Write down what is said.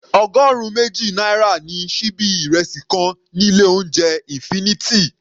Ọgọrun méjì náírà ni síbí ìrẹsì kan ní ilé oúnjẹ infinity.